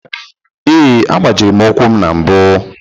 Ee, agbajiri m ụkwụ m na mbụ.